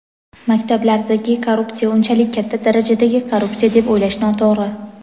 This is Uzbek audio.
Maktablardagi korrupsiya unchalik katta darajadagi korrupsiya deb o‘ylash noto‘g‘ri.